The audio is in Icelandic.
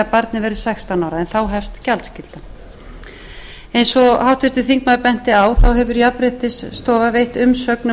barnið verður sextán ára en þá hefst gjaldskyldan eins og háttvirtur þingmaður benti á hefur jafnréttisstofa veitt umsögn um